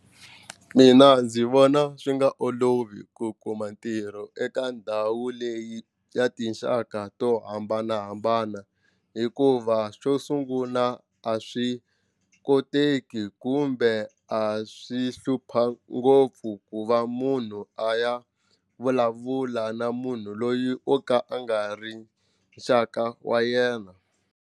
Mina ndzi vona swi nga olovi ku kuma ntirho eka ndhawu leyi ya tinxaka to hambanahambana hikuva xo sunguna a swi koteki kumbe a swi hlupha ngopfu ku va munhu a ya vulavula na munhu loyi o ka a nga ri nxaka wa yena.